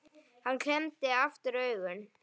Hann klemmdi aftur augun